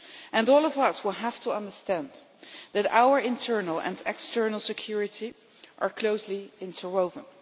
And all of us will have to understand that our internal and external security is closely interwoven.